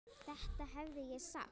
Þetta hefði ég sagt.